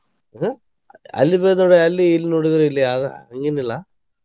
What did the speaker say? ಆಹ್ ಅಲ್ಲಿ ನೋಡಿದ್ರ ಅಲ್ಲಿ ಇಲ್ಲಿ ನೋಡಿದ್ರ ಇಲ್ಲಿ ಅಲಾ ಹಂಗೆನಿಲ್ಲಾ.